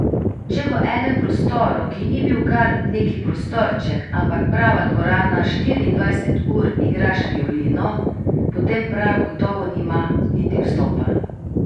Če v enem prostoru, ki ni bil kar neki prostorček, ampak prava dvorana, štiriindvajset ur igraš violino, potem prah gotovo nima niti vstopa.